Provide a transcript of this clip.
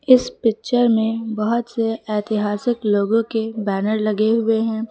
इस पिक्चर में बहुत से ऐतिहासिक लोगों के बैनर लगे हुए हैं।